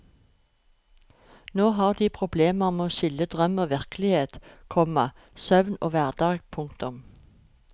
Nå har de problemer med å skille drøm og virkelighet, komma søvn og hverdag. punktum